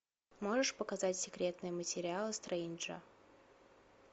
можешь показать секретные материалы стрейнджа